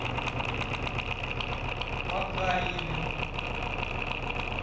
макарьеве